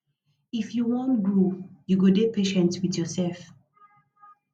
if you wan grow you go dey patient wit yoursef